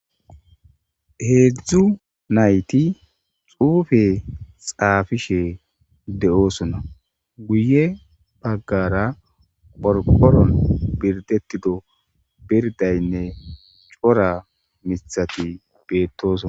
Heedzdzu nayti xuufe xaafishe de'oosona guye baggara borkoron birdettido birdaynne cora mithati beettoson.